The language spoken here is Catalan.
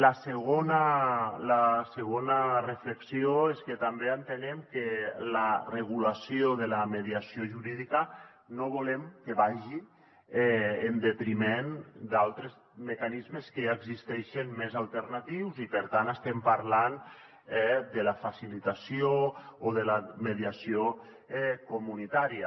la segona reflexió és que també entenem que la regulació de la mediació jurídica no volem que vagi en detriment d’altres mecanismes que ja existeixen més alternatius i per tant estem parlant de la facilitació o de la mediació comunitària